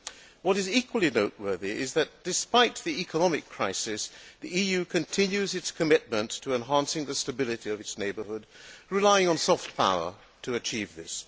What is equally noteworthy is that, despite the economic crisis, the EU continues its commitment to enhancing the stability of its neighbourhood, relying on soft power to achieve this.